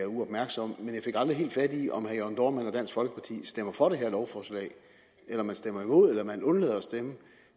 uopmærksom men jeg fik aldrig helt fat i om herre jørn dohrmann og dansk folkeparti stemmer for det her lovforslag eller om man stemmer imod eller om man undlader at stemme